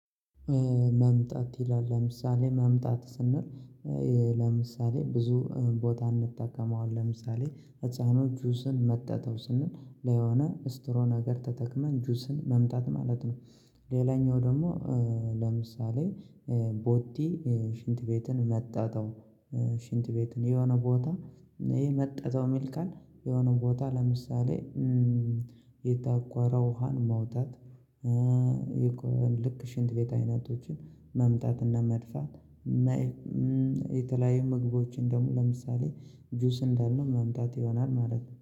መምጣት ይላል ለምሳሌ መምጣት ስንል ለምሳሌ ብዙ ቦታ እንጠቀመዋለን ለምሳሌ ህፃኖች ጁስን መጠጠው ስንል ለሆነ ስትሮ ነገር ተጠቅመን ጁስን መምጠት ማለት ነው። ሌላኛው ደግሞ ለምሳሌ ቦቲ ሽንት ቤትን መጠጠው ሽንት ቤትን የሆነ ቦታ ይሄ መጠጠው ሚል ቃል የሆነ ቦታ ለምሳሌ የታቆረ ውሃን ማውጣት። ልክ ሽንት ቤት አይነቶችን መምጠጥና መድፋት። የተለያዩ ምግቦችን ደግሞ ለምሳሌ ጁስ እንዳልነው መምጣት ይሆናል ማለት ነው